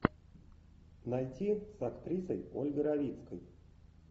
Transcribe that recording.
найти с актрисой ольгой равицкой